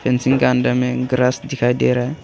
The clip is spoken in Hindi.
फेंसिंग का अंदर में ग्रास दिखाई दे रहा है।